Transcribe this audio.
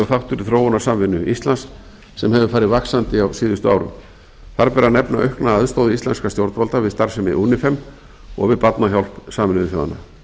í þróunarsamvinnu íslands sem hefur farið vaxandi á síðustu árum þar ber að nefna aukna aðstoð íslenskra stjórnvalda við starfsemi unifem og við barnahjálp sameinuðu þjóðanna